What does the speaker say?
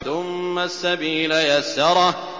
ثُمَّ السَّبِيلَ يَسَّرَهُ